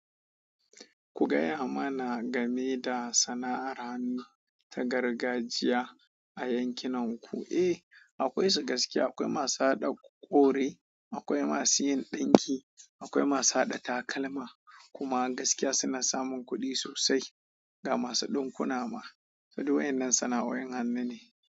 Ku gaya mana game da sana'ar hanu ta gargajiya a yankinanku. Eh, akwai su gaskiya. Akwai masu haɗa kore, akwai masu yin ɗinki, akwai masu haɗa takalma. Kuma gaskiya suna samun kuɗi sosai ga masu ɗinkuna ma. Duk wayannan sana'o; in hannu ne.